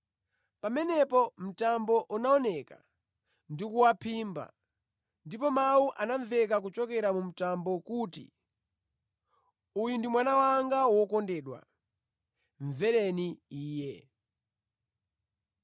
Pamenepo mtambo unaoneka ndi kuwaphimba, ndipo mawu anamveka kuchokera mu mtambo kuti, “Uyu ndi Mwana wanga wokondedwa. Mvereni Iye!”